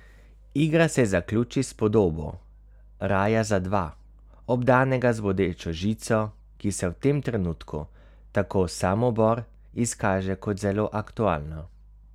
Igra se zaključi s podobo raja za dva, obdanega z bodečo žico, ki se v tem trenutku, tako Samobor, izkaže kot zelo aktualna.